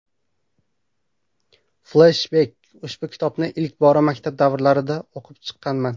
Fleshbek Ushbu kitobni ilk bora maktab davrlarida o‘qib chiqqanman.